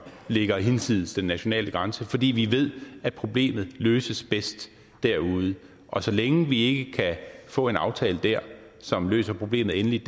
ligger hinsides den nationale grænse fordi vi ved at problemet løses bedst derude og så længe vi ikke kan få en aftale der som løser problemet endeligt